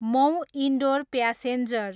Mau, Indore passenger